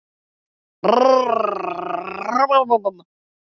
Krista, slökktu á þessu eftir fjörutíu og eina mínútur.